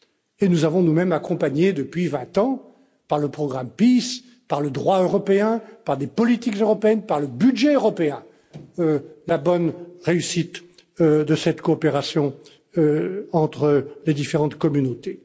Et nous avons nous mêmes accompagné depuis 20 ans, par le programme Peace, par le droit européen, par des politiques européennes, par le budget européen, la bonne réussite de cette coopération entre les différentes communautés.